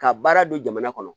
Ka baara don jamana kɔnɔ